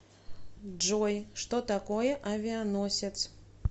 джой что такое авианосец